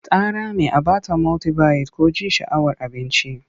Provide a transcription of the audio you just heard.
Ta rame a ba ta multibayit ko ji sha'awar cin abinci.